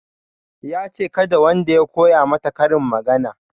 Yace kada wanda ya koya mata karin magana